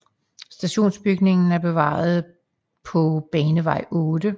Stationsbygningen er bevaret på Banevej 8